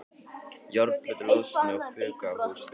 Járnplötur losnuðu og fuku af húsþökum.